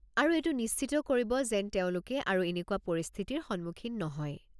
আৰু এইটো নিশ্চিত কৰিব যেন তেওঁলোকে আৰু এনেকুৱা পৰিস্থিতিৰ সন্মুখীন নহয়।